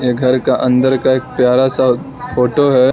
घर का अंदर का एक प्यारा सा फोटो है।